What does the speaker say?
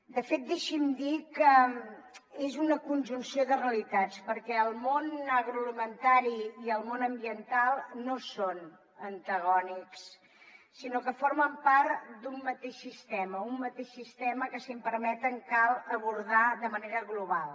de fet deixi’m dir que és una conjunció de realitats perquè el món agroalimentari i el món ambiental no són antagònics sinó que formen part d’un mateix sistema un mateix sistema que si m’ho permeten cal abordar de manera global